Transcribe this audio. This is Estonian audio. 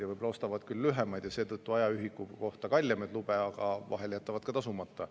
Nad ostavad küll võib-olla lühemaid ja seetõttu ajaühiku kohta kallimaid lube, aga vahel jätavad ka tasumata.